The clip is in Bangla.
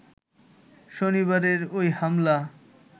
শনিবারের ওই হামলা